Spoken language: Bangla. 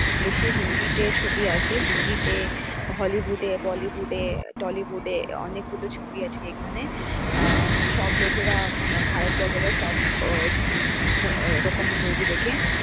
বেশি হিন্দিতে ছবি আসে হিন্দিতে hollywood এ bollywood এ tollywood এ অনেকগুলো ছবি আছে এখানে আহ and সব লোকেরা ভারত লোকেরা সব আহ ওরকম movie দেখে,